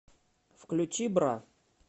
включи бра